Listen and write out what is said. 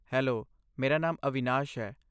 Hello, ਮੇਰਾ ਨਾਮ ਅਵਿਨਾਸ਼ ਹੈ।